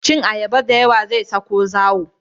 Cin ayaba da yawa zai sa ku zawo